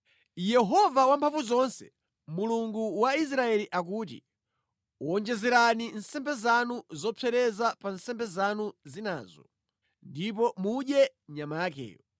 “Yehova Wamphamvuzonse, Mulungu wa Israeli akuti: Wonjezerani nsembe zanu zopsereza pa nsembe zanu zinazo ndipo mudye nyama yakeyo!